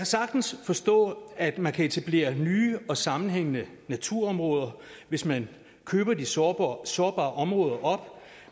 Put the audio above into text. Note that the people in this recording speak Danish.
sagtens forstå at man kan etablere nye og sammenhængende naturområder hvis man køber de sårbare sårbare områder op